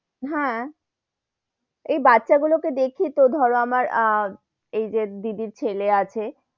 হ্যা, এই বাচ্চা গুলো কে দেখি তো ধরো আমার আহ এই যে দিদির ছেলে আছে,